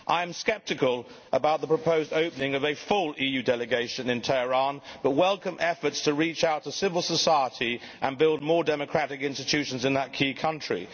I am sceptical about the proposed opening of a full EU Delegation in Tehran, but welcome efforts to reach out to civil society and build more democratic institutions in this key country.